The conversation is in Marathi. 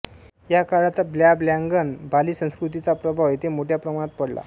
या काळात ब्लॅबॅंगन बालि संस्कृतीचा प्रभाव येथे मोठ्या प्रमाणात पडला